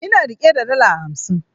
Ina rike da dala hamsin